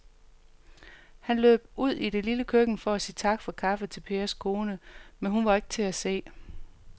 Han løb ud i det lille køkken for at sige tak for kaffe til Pers kone, men hun var ikke til at se.